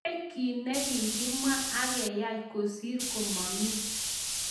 kaikai kiy ne kikimwa akeyai kosir komami